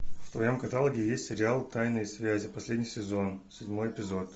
в твоем каталоге есть сериал тайные связи последний сезон седьмой эпизод